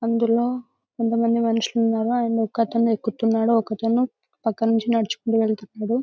అందులో కొంతమంది మనుషులు ఉన్నారు అండ్ ఒకతను ఎక్కుతున్నాడు ఒకతను పక్కన నుండి నడుచుకుంటూ వెళుతున్నాడు.